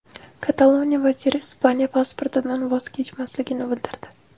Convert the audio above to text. Kataloniya vaziri Ispaniya pasportidan voz kechmasligini bildirdi.